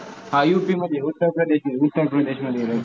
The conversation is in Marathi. हा UP मध्ये उत्तर प्रदेश मध्ये, उत्तर प्रदेश मध्ये येतो.